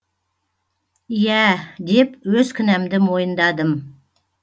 иә деп өз кінәмді мойындадым